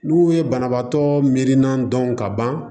N'u ye banabaatɔ mirinna dɔn ka ban